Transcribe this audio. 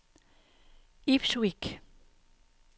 Ipswich